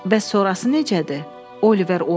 Bəs sonrası necədir, Oliver White?